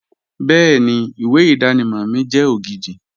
Bẹ́ẹ̀ni, ìwé ìdánimọ̀ mi jẹ́ ògidì